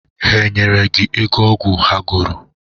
Ha nyere gi ego ọgwụ ha goro?